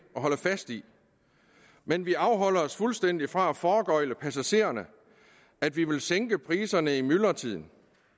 og holde fast i men vi afholder os fuldstændig fra at foregøgle passagererne at vi vil sænke priserne i myldretiden